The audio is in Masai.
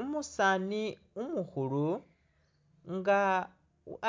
Umusaani umukhulu nga